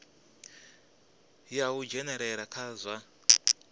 ya u dzhenelela kha zwa